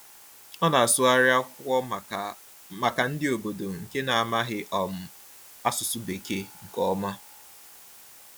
Ọ na-asụgharị akwụkwọ maka maka ndị obodo nke na-amaghị um asụsụ Bekee nke ọma.